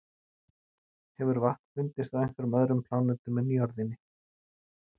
hefur vatn fundist á einhverjum öðrum plánetum en jörðinni